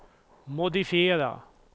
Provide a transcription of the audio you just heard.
modifiera